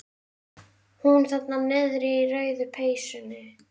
Hún þarna niðri í rauðu peysunni.